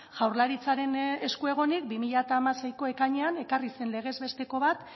jaurlaritzaren esku egonik bi mila hamaseiko ekainean ekarri zen legez besteko bat